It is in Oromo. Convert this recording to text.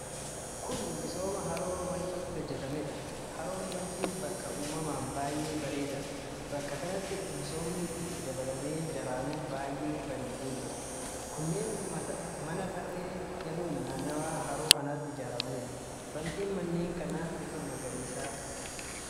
Kun misooma haroo Wanciitti hojjatameedha. Haroon Wancii bakka uumamaan baay'ee bareedaadha. Bakka kanatti misoomni itti dabalamee daranuu baay'ee bareedee jira. Kunneen mana tarree galuun naannawa haroo kanaatti ijaaramanidha. Bantiin manneen kana bifa magariisa qaba.